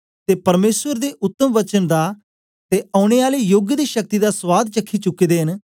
ते परमेसर दे उतम वचन दा ते औने आले योग दी शक्ति दा सुआद चखी चुके दे न